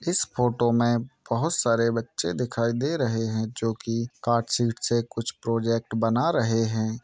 इस फोटो में बहोत सारे बच्चे दिखाई दे रहे हैं जो कि कार्ड शीट से कुछ प्रोजेक्ट बना रहे हैं।